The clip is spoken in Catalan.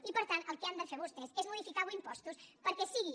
i per tant el que han de fer vostès és modificar avui impostos perquè sigui